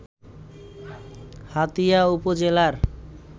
হাতিয়া উপজেলার